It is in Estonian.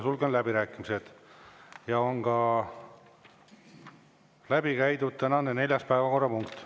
Sulgen läbirääkimised ja on läbi käidud ka tänane neljas päevakorrapunkt.